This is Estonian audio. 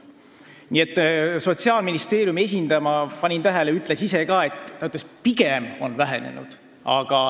Ma panin tähele, et Sotsiaalministeeriumi esindaja ütles ka, et pigem on tarbimine vähenenud.